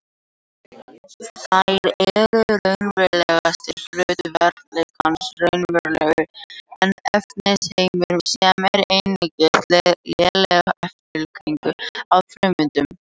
Þær eru raunverulegasti hluti veruleikans, raunverulegri en efnisheimurinn sem er einungis léleg eftirlíking af frummyndunum.